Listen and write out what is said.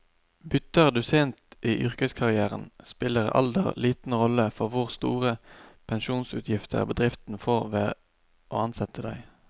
Bytter du sent i yrkeskarrieren, spiller alder liten rolle for hvor store pensjonsutgifter bedriften får ved å ansette deg.